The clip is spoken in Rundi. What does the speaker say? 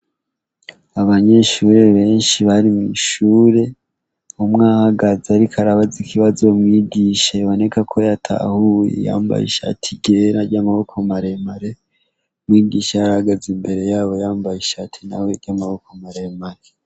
Abanyeshure benshi bari mw'ishure, umwe ahagaze ariko arabaza ikibazo mwigisha biboneka ko yatahuye yambaye ishati ryera ry'amaboko maremare. Mwigisha yarahagaze imbere yabo yambaye ishati nawe ry'amaboko maremare.